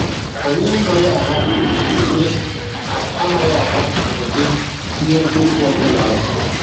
Anyị anaghị ahapụ ụdị anaghị ahapụ ụdị ihe mkpofu ọ bụla azụ.